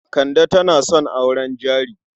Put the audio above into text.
Kande tana son auren jari.